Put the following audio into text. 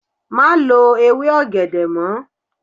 Má lo ewé ọ̀gẹ̀dẹ̀ mọ́.